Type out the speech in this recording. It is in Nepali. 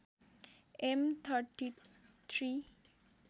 एम ३३